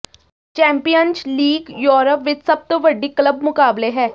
champions league Europe ਵਿਚ ਸਭ ਤੋਂ ਵੱਡੀ ਕਲੱਬ ਮੁਕਾਬਲੇ ਹੈ